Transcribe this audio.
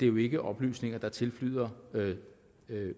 jo ikke oplysninger der tilflyder